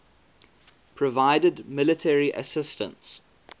provided military assistance